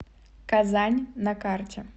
казань на карте